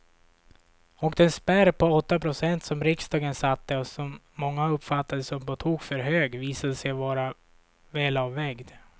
Och den spärr på åtta procent som riksdagen satte och som många uppfattade som på tok för hög visade sig vara välavvägd.